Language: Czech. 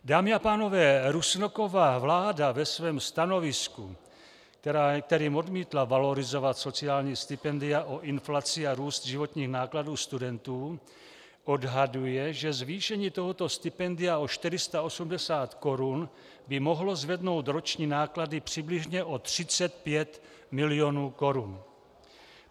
Dámy a pánové, Rusnokova vláda ve svém stanovisku, kterým odmítla valorizovat sociální stipendia o inflaci a růst životních nákladů studentů, odhaduje, že zvýšení tohoto stipendia o 480 korun by mohlo zvednout roční náklady přibližně o 35 mil. korun.